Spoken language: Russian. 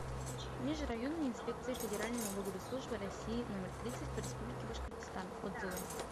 межрайонная инспекция федеральной налоговой службы россии номер тридцать по республике башкортостан отзывы